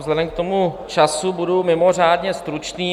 Vzhledem k tomu času budu mimořádně stručný.